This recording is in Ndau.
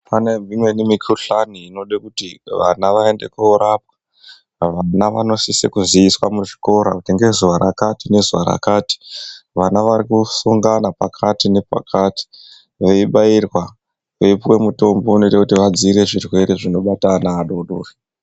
Pane imweni mikhuhlane inode kuti vana vaende korapwa. Vana vanosisa kuziiswa muzvikoro kuti ngezuva rakati nezuva rakati vana varikosongana pakati nepakati veibairwa, veipuwa mutombo dziirire zvirwere zvinobate ana adodori.